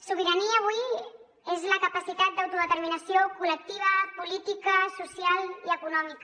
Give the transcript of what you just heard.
sobirania avui és la capacitat d’autodeterminació col·lectiva política social i econòmica